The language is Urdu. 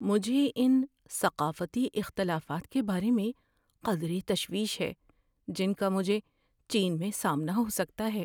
مجھے ان ثقافتی اختلافات کے بارے میں قدرے تشویش ہے جن کا مجھے چین میں سامنا ہو سکتا ہے۔